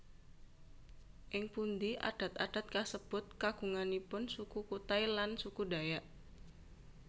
Ing pundi adat adat kasebut kagunganipun Suku Kutai lan Suku Dayak